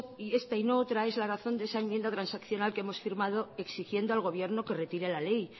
y no otra es la razón de esa enmienda transaccional que hemos firmado exigiendo al gobierno que retire la ley